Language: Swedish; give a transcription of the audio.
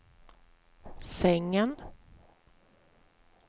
sängen